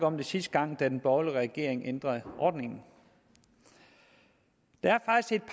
om det sidste gang da den borgerlige regering ændrede ordningen der